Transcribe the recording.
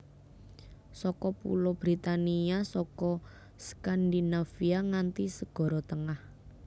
Saka Pulo Britania saka Skandinavia nganti Segara Tengah